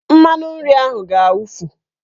Mmanụnri ahụ ga-awufu